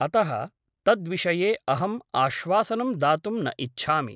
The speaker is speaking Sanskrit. अतः तद्विषये अहम् आश्वासनं दातुं न इच्छामि ।